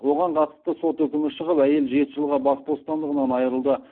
оған қатысты сот үкімі шығып әйел жеті жылға бас бостандығынан айырылды